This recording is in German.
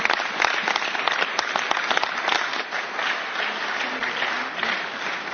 Herr de Masi! Zum letzten Punkt kann ich Ihnen keine Aufklärung geben. Dazu müssen sich die Fraktionen äußern.